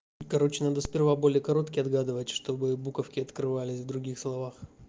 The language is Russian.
короче надо сперва более короткий отгадывать чтобы буковки открывались в других словах